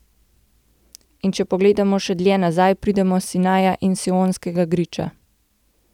In če pogledamo še dlje nazaj, pridemo do Sinaja in Sionskega griča.